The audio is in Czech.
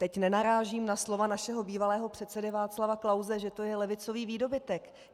Teď nenarážím na slova našeho bývalého předsedy Václava Klause, že to je levicový výdobytek.